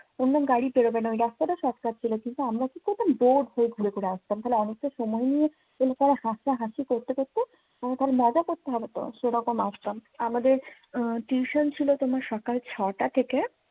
অন্য গাড়ি পেরোবেনা। ওই রাস্তাটা shortcut ছিল। কিন্তু আমরা কি করতাম দৌড় করে ঘুরে ঘুরে আসতাম। খালি অনেকটা সময় নিয়ে হাসি করতে করতে মজা করতে হবে তো। সেরকম আসতাম। আমাদের tuition ছিল সকাল ছটা থেকে